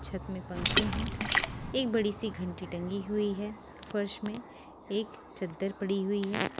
छत में पंखे हैं एक बड़ी सी घंटी टंगी हुई है फर्श में एक चद्दर पड़ी हुई है।